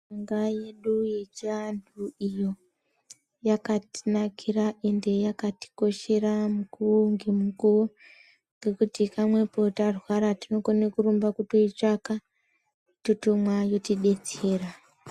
Mushonga yedu yechivantu iyo yakatinakira ende yakati koshera mukuwo ngemukuwo ngekuti pamwepo tarwara tinokone kurumba kutoitsvaka totomwa yototidetsera .